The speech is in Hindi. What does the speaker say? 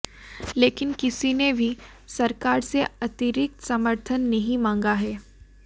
लेकिन किसी ने भी सरकार से अतिरिक्त समर्थन नहीं मांगा है